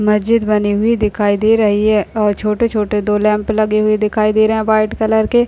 मस्जिद बनी हुई दिखाई दे रही है और छोटे-छोटे दो लैंप लगे हुए दिखाई दे रहे हैं व्हाइट कलर के --